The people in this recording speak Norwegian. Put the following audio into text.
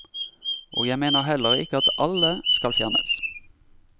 Og jeg mener heller ikke at alle skal fjernes.